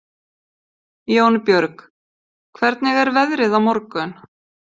Jónbjörg, hvernig er veðrið á morgun?